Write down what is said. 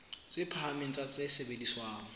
tse phahameng tsa tse sebediswang